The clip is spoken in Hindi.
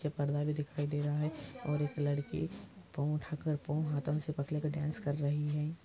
पीछे पड़दा दिखाई दे रहा हे और एक लड़की पाव उठाकर पाव हाथो में से डांस कर रही हे |